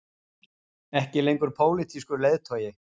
Ekki lengur pólitískur leiðtogi